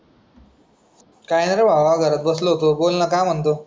काही नाही रे बाबा घरात बसलो होतो, बोल ना बाबा.